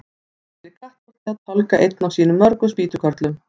Emil í Kattholti að tálga einn af sínum mörgu spýtukörlum.